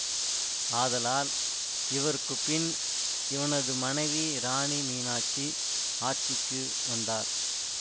ஆதலால் இவருக்குப்பின் இவனது மனைவி இராணி மீனாட்சி ஆட்சிக்கு வந்தார்